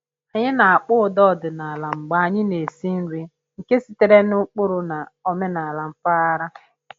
Anyị na-akpọ ụda ọdịnala mgbe anyị na-esi nri nke sitere n'ụkpụrụ na omenala mpaghara